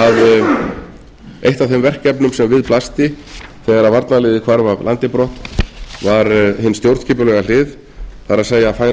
að eitt af þeim verkefnum sem við blöstu þegar varnarliðið hvarf af landi brott var hin stjórnskipulega hlið það er að færa